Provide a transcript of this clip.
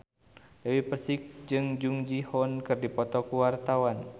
Dewi Persik jeung Jung Ji Hoon keur dipoto ku wartawan